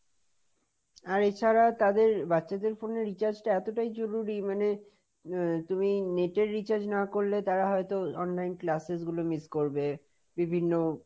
আর এ ছাড়া তাদের বাচ্চাদেরPhone এ recharge টা এতটাই জরুরি মানে, আহ তুমি Net এর recharge না করলে তারা হয়ত Online classes গুলো miss করবে, বিভিন্ন,